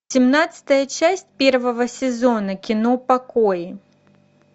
семнадцатая часть первого сезона кино покои